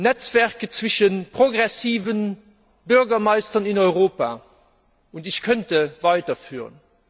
Netzwerke zwischen progressiven Bürgermeistern in Europa ich könnte die Liste weiterführen.